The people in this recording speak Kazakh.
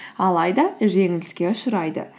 алайда жеңіліске ұшырайды